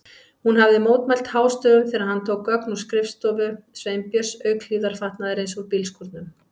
Hún hafði mótmælt hástöfum þegar hann tók gögn af skrifstofu Sveinbjörns, auk hlífðarfatnaðarins úr bílskúrnum.